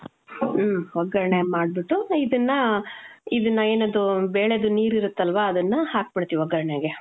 ಮ್ಮ್, ಒಗ್ಗರಣೆ ಮಾಡ್ಬಿಟ್ಟು, ಇದುನ್ನಾ, ಇದುನ್ನ ಏನದು ಬೇಳೆದು ನೀರ್ ಇರತ್ತಲ್ವ ಅದುನ್ನಾ ಹಾಕ್ಬಿಡ್ತೀವಿ ಒಗ್ಗರಣೆಗೆ.